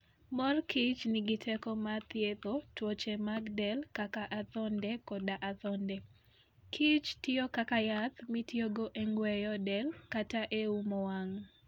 Mor kich nigi teko mar thiedho tuoche mag del kaka adhonde koda adhonde. kich tiyo kaka yath mitiyogo e ng'weyo del kata e umo wang '.